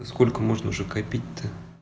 но сколько можно уже копить то